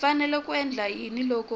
fanele ku endla yini loko